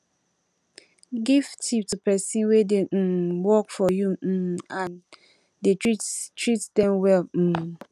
give tip to persin wey de um work for you um and dey treat treat them well um